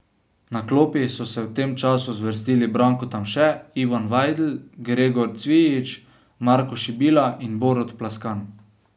Na klopi so se v tem času zvrstili Branko Tamše, Ivan Vajdl, Gregor Cvijič, Marko Šibila in Borut Plaskan.